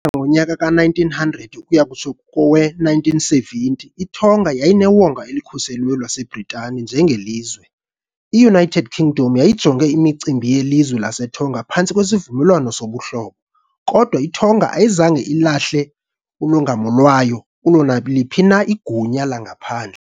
ngowe-1900 ukuya kutsho ngowe-1970, iTonga yayinewonga elikhuselweyo laseBritani njengelizwe . I-United Kingdom yayijonge imicimbi yelizwe laseTonga phantsi kweSivumelwano soBuhlobo, kodwa iTonga ayizange ilahle ulongamo lwayo kulo naliphi na igunya langaphandle.